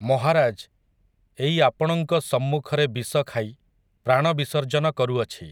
ମହାରାଜ୍, ଏଇ ଆପଣଙ୍କ ସମ୍ମୁଖରେ ବିଷଖାଇ, ପ୍ରାଣ ବିସର୍ଜନ କରୁଅଛି।